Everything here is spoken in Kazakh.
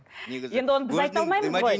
енді оны біз айта алмаймыз ғой